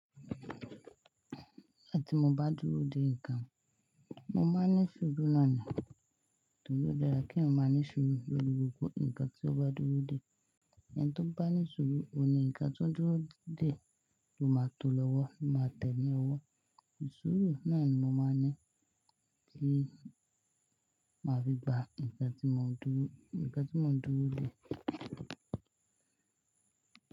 Nigbati mo bá dúró dè nǹkan, mo máa ní sùúrù nónìí, torí ó dára kí èèyàn má ní sùúrù lórí gbogbo nǹkan tí ó bá dúró dè. Ẹni tó bá ní sùúrù oní ńǹkan tó dúró dè ló máa to lọ́wọ́, o máa tẹ́ni owó. Sùúrù náà ni mo máa ní kí a fi gba nǹkan tí mo dúró, nǹkan tí mo dúró dè.